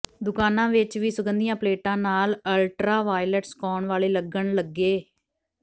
ਦੁਕਾਨਾਂ ਵਿਚ ਵੀ ਸੁਗੰਧੀਆਂ ਪਲੇਟਾਂ ਨਾਲ ਅਲਟਰਾਵਾਇਲਟ ਸੁਕਾਉਣ ਵਾਲੇ ਲੱਗਣ ਲੱਗੇ